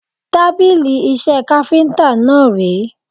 Tábìlì iṣẹ́ káfíntà náà ré.